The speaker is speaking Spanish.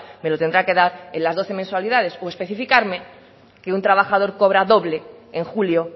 me lo tendrá que dar en las doce mensualidades o especificarme que un trabajador cobra doble en julio